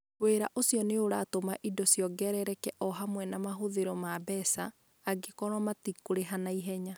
Wĩra ũcio nĩ ũratũma indo ciongerereke o hamwe na mahũthĩro ma mbeca, angĩkorũo matikũrĩha na ihenya.